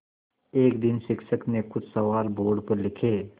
एक दिन शिक्षक ने कुछ सवाल बोर्ड पर लिखे